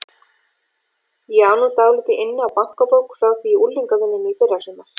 Ég á nú dálítið inni á bankabók frá því í unglingavinnunni í fyrrasumar.